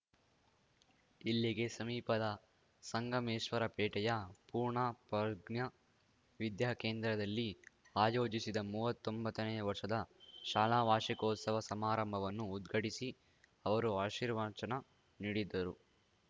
ಇಲ್ಲಿಗೆ ಸಮೀಪದ ಸಂಗಮೇಶ್ವರಪೇಟೆಯ ಪೂರ್ಣಪ್ರಜ್ಞಾ ವಿದ್ಯಾಕೇಂದ್ರದಲ್ಲಿ ಆಯೋಜಿಸಿದ್ದ ಮೂವತ್ತೊಂಬತ್ತನೇ ವರ್ಷದ ಶಾಲಾ ವಾರ್ಷಿಕೋತ್ಸವ ಸಮಾರಂಭವನ್ನು ಉದ್ಘಾಟಿಸಿ ಅವರು ಆಶೀರ್ವಚನ ನೀಡಿದರು